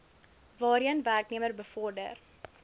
waarheen werknemer bevorder